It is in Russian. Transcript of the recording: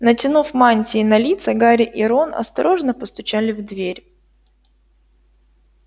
натянув мантии на лица гарри и рон осторожно постучали в дверь